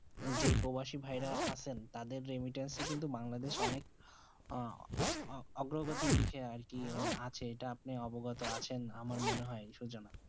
যে প্রবাসী ভাই রা আচেন তাদের রেমিস্টের্স যে বাংলাদেশ অনেক অগ্রগতি দিখে আর কি আছে এবং আপনি অবগত আচেন মনে হয়ে সুজানা